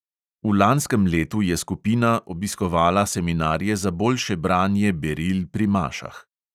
V lanskem letu je skupina obiskovala seminarje za boljše branje beril pri mašah.